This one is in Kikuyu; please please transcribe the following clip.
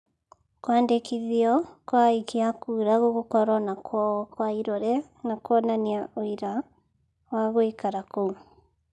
Kũandĩkithio kwa akia a kuura gũgũkorwo na kuonywo kwa irore na kuonania ũira wa gũikaraga kũu.